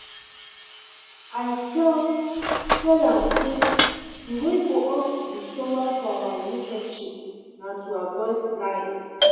I tell tell am say the way for us to be stronger for our relationship na to avoid lying